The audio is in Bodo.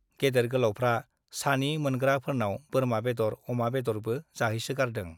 गेदेर गोलावफ्रा सानि मोनग्रा फोरनाव बोरमा बेदर , अमा बेदरबो जाह्रैसो गारदों ।